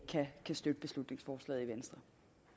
støtte beslutningsforslaget i venstre